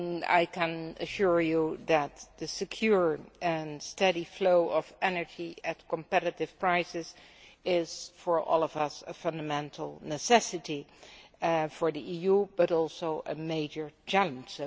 I can assure you that the secure and steady flow of energy at competitive prices is, for all of us, a fundamental necessity for the EU, but also a major challenge.